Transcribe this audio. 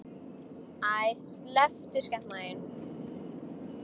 Æi, slepptu skepnan þín!